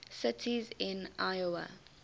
cities in iowa